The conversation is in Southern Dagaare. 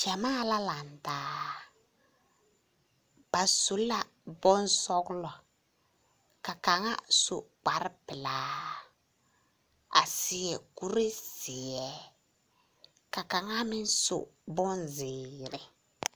Gyamaa la lantaa. Ba su la bonsͻgelͻ, ka kaŋa su kpare pelaa a seԑ kuree zeԑ ka kaŋa meŋ su bonzeere.